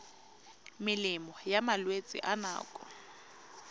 melemo ya malwetse a nako